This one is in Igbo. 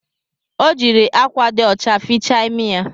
Ọ jiri akwa dị ọcha fichaa imi ya